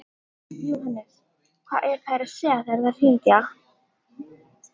Jóhannes: Hvað eru þær að segja þegar þær hringja?